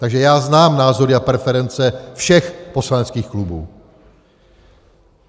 Takže já znám názory a preference všech poslaneckých klubů.